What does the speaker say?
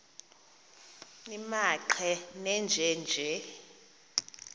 nimaqe nenje nje